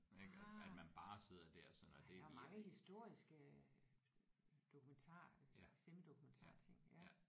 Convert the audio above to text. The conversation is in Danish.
Ah ja der er jo mange historiske dokumentarer eller semi dokumentar ting ja